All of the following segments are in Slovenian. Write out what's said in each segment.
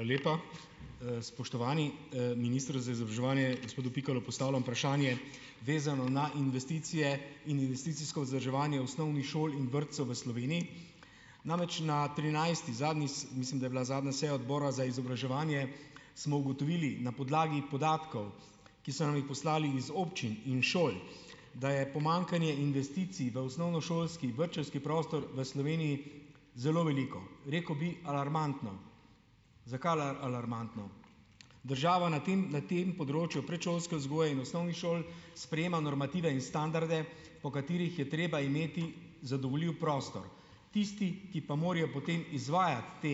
Hvala lepa. Spoštovani, minister za izobraževanje, gospodu Pikalu postavljam vprašanje, vezano na investicije in investicijsko vzdrževanje osnovnih šol in vrtcev v Sloveniji. Namreč na trinajsti zadnji mislim, da je bila zadnja seja Odbora za izobraževanje, smo ugotovili na podlagi podatkov, ki so nam jih poslali iz občin in šol, da je pomanjkanje investicij v osnovnošolski, vrtčevski prostor v Sloveniji zelo veliko, rekel bi alarmantno. Zakaj alarmantno? Država na tem na tem področju predšolske vzgoje in osnovnih šol sprejema normative in standarde, po katerih je treba imeti zadovoljiv prostor. Tisti, ki pa morajo potem izvajati te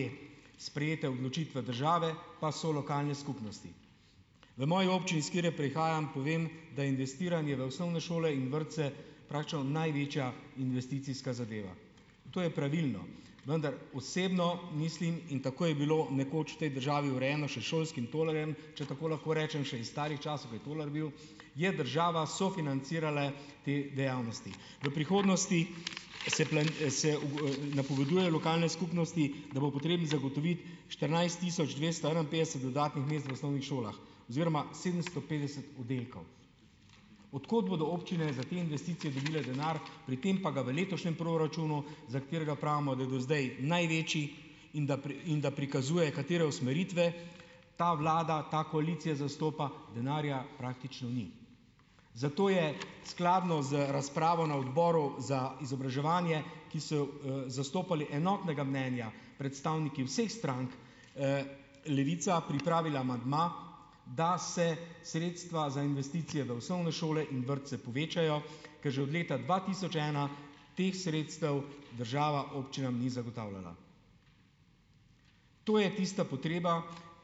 sprejete odločitve države, pa so lokalne skupnosti. V moji občini, s katere prihajam, povem, da je investiranje v osnovne šole in vrtce praktično največja investicijska zadeva. To je pravilno. Vendar osebno mislim, in tako je bilo nekoč v tej državi urejeno še s šolskim tolarjem, če tako lahko rečem, še iz starih časov, kaj tolar bil, je država sofinancirala te dejavnosti. V prihodnosti se se napoveduje lokalne skupnosti, da bo potrebno zagotoviti štirinajst tisoč dvesto enainpetdeset dodatnih mest v osnovnih šolah oziroma sedemsto petdeset oddelkov. Od kot bodo občine za te investicije dobile denar, pri tem pa ga v letošnjem proračunu, za katerega pravimo, da do zdaj največji in da in da prikazuje, katere usmeritve ta vlada, ta koalicija zastopa, denarja praktično ni. Zato je skladno z razpravo na Odboru za izobraževanje, ki so jo, zastopali enotnega mnenja predstavniki vseh strank, Levica pripravila amandma, da se sredstva za investicije v osnovne šole in vrtce povečajo, ker že od leta dva tisoč ena teh sredstev država občinam ni zagotavljala. To je tista potreba,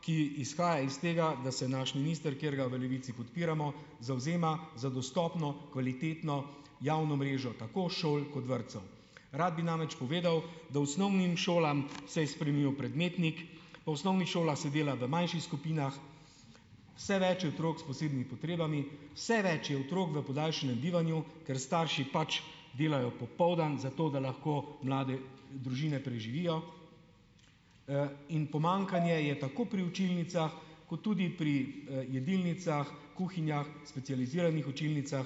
ki izhaja iz tega, da se naš minister, katerega ga v Levici podpiramo, zavzema za dostopno, kvalitetno javno mrežo tako šol kot vrtcev. Rad bi namreč povedal, da osnovnim šolam se je spremenil predmetnik, v osnovnih šolah se dela v manjših skupinah, več je otrok s posebnimi potrebami, vse več je otrok v podaljšanem bivanju, ker starši pač delajo popoldan, zato da lahko mlade družine preživijo. In pomanjkanje je tako pri učilnicah kot tudi pri, jedilnicah, kuhinjah, specializiranih učilnicah,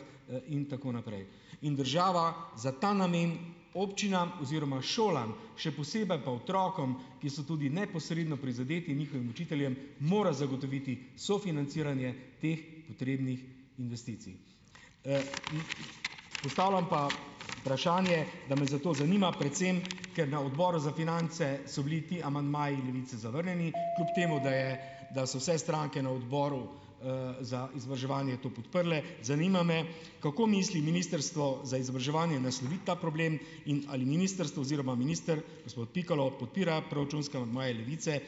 in tako naprej. In država za ta namen občinam oziroma šolam, še posebej pa otrokom, ki so tudi neposredno prizadeti, in njihovim učiteljem mora zagotoviti sofinanciranje teh potrebnih investicij. Postavljam pa vprašanje, da me zato zanima predvsem, ker na Odboru za finance so bili ti amandmaji Levice zavrnjeni, kljub temu da je, da so vse stranke na odboru, za izobraževanje to podprle. Zanima me, kako misli ministrstvo za izobraževanje nasloviti ta problem in ali ministrstvo oziroma minister, gospod Pikalo, podpira proračunske amandmaje Levice ...